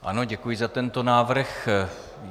Ano, děkuji za tento návrh.